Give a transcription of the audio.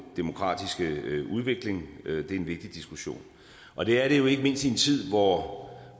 demokratiske udvikling det er en vigtig diskussion og det er det jo ikke mindst i en tid hvor